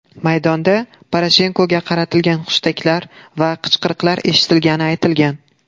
Maydonda Poroshenkoga qaratilgan hushtaklar va qichqiriqlar eshitilgani aytilgan.